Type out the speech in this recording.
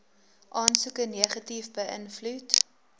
aansoeke negatief beïnvloed